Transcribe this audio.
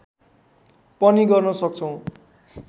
पनि गर्न सक्छौँ